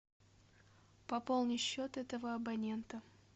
пополни счет этого абонента